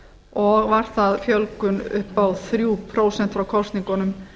og var það þrjú prósent fjölgun frá kosningunum